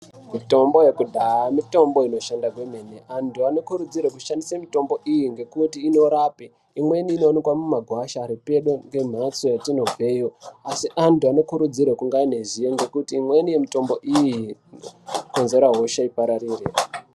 Mitombo yekudhaya mitombo inoshanda kwemene, antu anokurudzirwe kushandise mitombo iyi ngekuti inorape. Imweni inoonekwa mumagwasha ari pedo ngemhatso yatinobveyo asi antu anokurudzirwe kunge pane zivo ngekuti imweni yemitombo iyi inokonzera hosha ipararire.